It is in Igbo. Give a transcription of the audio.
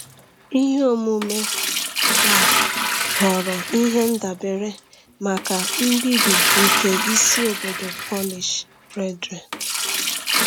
Ihe omume a ghọrọ ihe ndabere maka mbibi nke isi obodo Polish Brethren.